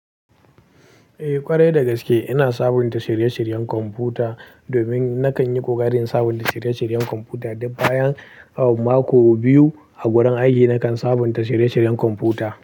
Eh ƙwarai dagaske ina sabunta shirye-shiryen kwamfuta domin nakan yi ƙoƙari in sabunta shirye-shiryen kwamfuta. Duk bayan mako biyu a gurin aiki nakan sabunta shirye-shiryen kwamfuta.